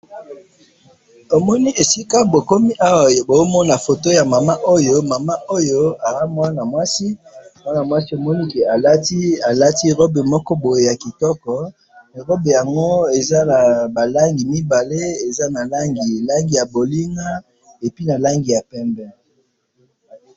tomoni esika bokomi awa, bozomona photo ya mama oyo, mama oyo, aza muana mwasi, muana mwasi tomoni que alati robe moko boye ya kitoko, robe yango eza naba langi mibale, eza na langi ya bolinga, et puis na langi ya pembe